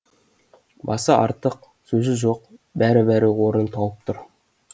басы артық сөзі жоқ бәрі бәрі орнын тауып тұр